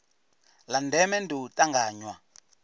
la ndeme ndi u tanganywa